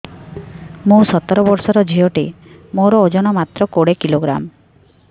ମୁଁ ସତର ବର୍ଷ ଝିଅ ଟେ ମୋର ଓଜନ ମାତ୍ର କୋଡ଼ିଏ କିଲୋଗ୍ରାମ